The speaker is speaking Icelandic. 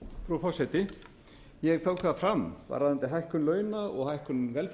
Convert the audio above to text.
frú forseti ég tók það fram varðandi hækkun launa og hækkun